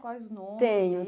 Quais os nomes Tenho